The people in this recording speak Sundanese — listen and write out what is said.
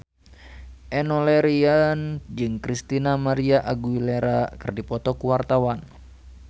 Enno Lerian jeung Christina María Aguilera keur dipoto ku wartawan